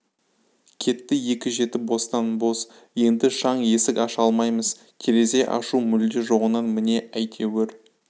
кетті екі жеті бостан-бос енді шаң есік аша алаймыз терезе ашу мүлде жоғынан міне әйтеуір